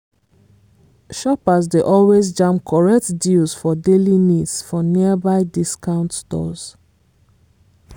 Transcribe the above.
shoppers dey always jam correct deals for daily needs for nearby discount stores.